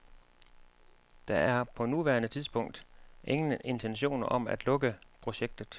Der er på nuværende tidspunkt ingen intentioner om at lukke projektet.